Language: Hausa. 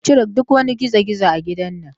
Ku cire duk wani girgizo a gidan nan.